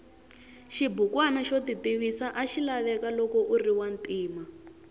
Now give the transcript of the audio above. xibukwana xo titivisa axilaveka loko uriwantima